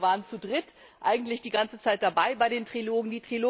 Das stimmt, wir waren zu Dritt eigentlich die ganze Zeit dabei bei den Trilogen.